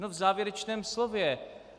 No v závěrečném slově.